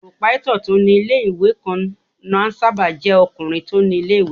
Pòròpáítọ̀ tó ní ilé-ìwé kan máà ń sáábà jẹ́ ọkùnrin tó ni ilé-ìwé náà